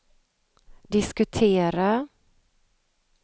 diskutera